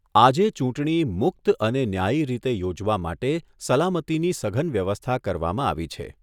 આજે ચૂંટણી મુક્ત અને ન્યાયી રીતે યોજવા માટે સલામતીની સઘન વ્યવસ્થા કરવામાં આવી છે.